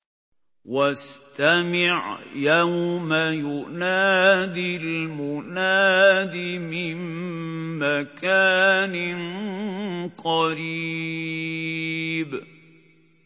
وَاسْتَمِعْ يَوْمَ يُنَادِ الْمُنَادِ مِن مَّكَانٍ قَرِيبٍ